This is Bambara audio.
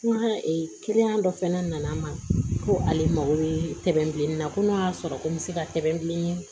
N ka kiliyan dɔ fɛnɛ nana n ma ko ale mago bɛ bilenni na ko n'o y'a sɔrɔ ko n bɛ se ka tɛmɛn bilen